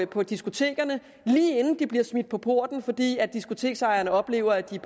på diskotekerne lige inden de bliver smidt på porten fordi diskoteksejerne oplever at de